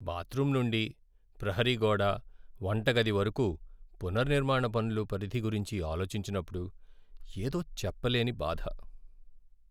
Bathroom నుండీ ప్రహరీ గోడ, వంటగది వరకూ పునర్నిర్మాణ పనుల పరిధి గురించి ఆలోచించినప్పుడు, ఏదో చెప్పలేని బాధ!